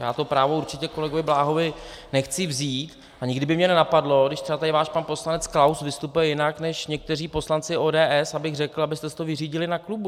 Já to právo určitě kolegovi Bláhovi nechci vzít a nikdy by mě nenapadlo, když třeba tady váš pan poslanec Klaus vystupuje jinak než někteří poslanci ODS, abych řekl, abyste si to vyřídili na klubu.